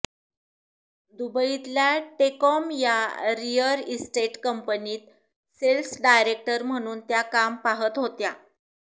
दुबईतल्या TECOM या real estate कंपनीत sales director म्हणून त्या काम पाहत होत्या